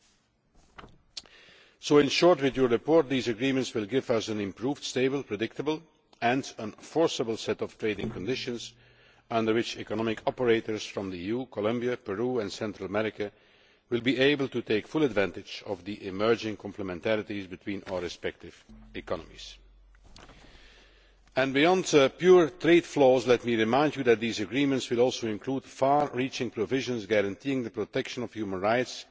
In short, together with your report, these agreements will give us an improved, stable, predictable and enforceable set of trading conditions under which economic operators from the EU, Colombia, Peru and Central America will be able to take full advantage of the emerging complementarities between our respective economies. Beyond pure trade flows, let me remind you that these agreements will also improve far reaching provisions guaranteeing the protection of human rights